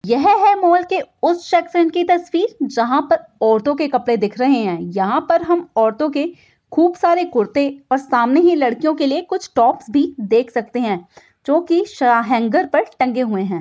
यह हैं मॉल के उस सेक्शन की तस्वीर जहाँ पर औरतों के कपड़े दिख रहे हैं यहाँ पर हम औरतों के खूब सारे कुर्ते और सामने ही लड़कियों के लिए कुछ टॉप्स भी देख सकते हैं जो कि शा हेंगर पर टंगे हुए हैं।